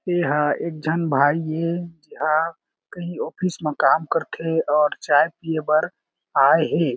एहां एक झन भाई ए ए हा कही ऑफिस म काम करथे और चाय पिए बर आये हें।